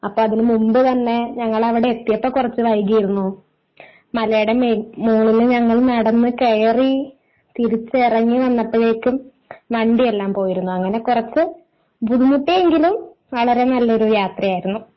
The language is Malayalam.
അപ്പൊ അതിന് മുൻപ് തന്നെ ഞങ്ങൾ അവിടെ എത്തിയപ്പോൾ കുറച്ചു വൈകിയിരുന്നു. മലയുടെ മുകളിൽ ഞങ്ങൾ നടന്നു കയറി തിരിച്ചിറങ്ങി വന്നപ്പോളേക്കും വണ്ടി എല്ലാം പോയിരുന്നു അങ്ങനെ കുറച്ച് ബുദ്ധിമുട്ടിയെങ്കിലും വളരെ നല്ല ഒരു യാത്രയായിരുന്നു.